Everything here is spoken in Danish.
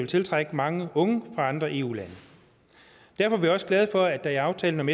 tiltrække mange unge andre eu lande derfor er vi også glade for at der i aftalen om